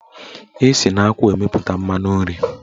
Esi na akwụ emepụta mmanụ nri.